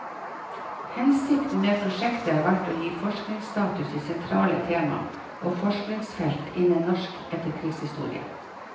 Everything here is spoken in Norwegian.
Hensikten med prosjektet har vært å gi forskningsstatus i sentrale tema og forskningsfelt innen norsk etterkrigshistorie.